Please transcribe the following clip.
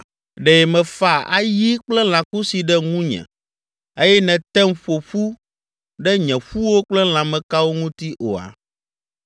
Ɖe mèfa ayi kple lãkusi ɖe ŋunye eye nètem ƒo ƒu ɖe nye ƒuwo kple lãmekawo ŋuti oa?